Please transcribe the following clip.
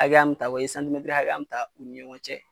Hakɛya mun ta u ye hakɛya mun ta u ni ɲɔgɔn cɛ.